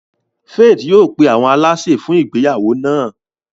Faith yóò pe awọn àlàsè fun ìgbéyàwó náa.